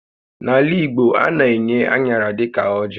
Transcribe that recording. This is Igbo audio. N'ala Igbo, a na-enye aṅara dịka ọjị́